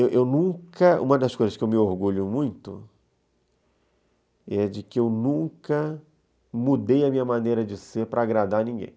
Eu nunca... Uma das coisas que eu me orgulho muito é de que eu nunca mudei a minha maneira de ser para agradar ninguém.